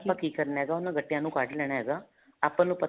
ਆਪਾਂ ਕੀ ਕਰਨਾ ਹੈਗਾ ਉਹਨਾ ਗੱਟਿਆਂ ਨੂੰ ਕੱਢ ਲੈਣਾ ਹੈਗਾ ਆਪਾਂ ਨੂੰ ਪਤਾ